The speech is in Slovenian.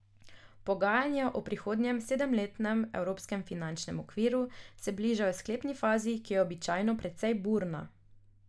Pogajanja o prihodnjem sedemletnem evropskem finančnem okviru se bližajo sklepni fazi, ki je običajno precej burna.